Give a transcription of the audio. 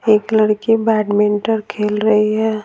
एक लड़की बैडमिंटन खेल रही है।